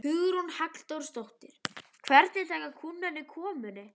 Hugrún Halldórsdóttir: Hvernig taka kúnnarnir komunni?